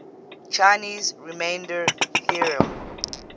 chinese remainder theorem